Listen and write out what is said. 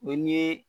O ye ni ye